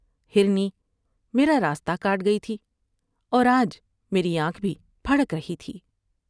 ہرنی میرا راستہ کاٹ گئی تھی اور آج میری آنکھ بھی پھڑک رہی تھی ۔